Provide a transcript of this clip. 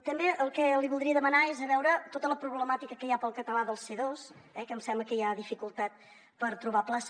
també el que li voldria demanar és de veure tota la problemàtica que hi ha pel català del c2 que em sembla que hi ha dificultat per trobar plaça